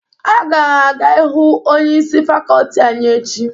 Aga m aga hụ onyeisi fakọlti anyị echi.